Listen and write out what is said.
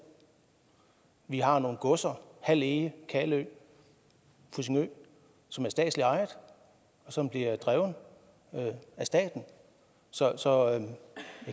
vi har nogle godser hald ege kalø fussingø som er statsligt ejet og som bliver drevet af staten så så